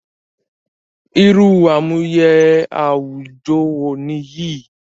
Irú àmúyẹ àwùjọ wo nìyí